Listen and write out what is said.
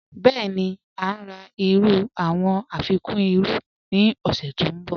Bẹẹ̀ni, à ǹ rà awọn irú afikún irú ni ọ̀ṣẹ̀ tó nbọ̀.